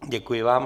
Děkuji vám.